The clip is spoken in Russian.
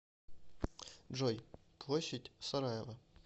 джой площадь сараево